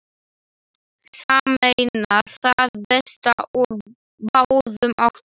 Sameina það besta úr báðum áttum.